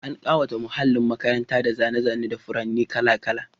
An kawata muhallin makarantar da zane-zane da furanni kala-kala.